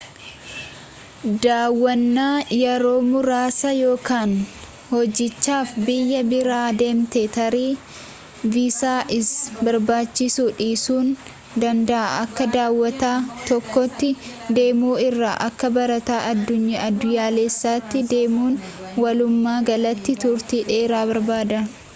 daawwwanaa yeroo muraasa yookan hojiidhaaf biyya biraa deemte tarii viisaa si barbaachisuu dhiisuu ni danda'a akka daawwataa tokkootti deemu irra akka barataa addunyaalessaatti deemuun walumaa galatti turtii dheeraa barbaada